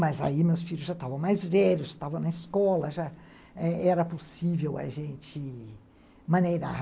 Mas aí meus filhos já estavam mais velhos, já estavam na escola, já era possível a gente maneirar.